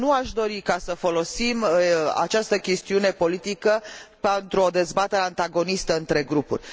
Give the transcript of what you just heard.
Însă nu aș dori să folosim această chestiune politică pentru o dezbatere antagonistă între grupuri.